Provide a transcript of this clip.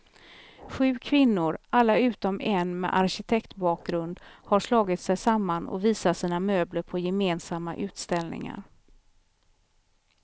Sju kvinnor, alla utom en med arkitektbakgrund, har slagit sig samman och visar sina möbler på gemensamma utställningar.